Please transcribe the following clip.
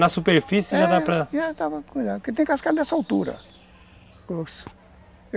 Na superfície, é, já dá para... É, já dá para cuidar, porque tem cascalho dessa altura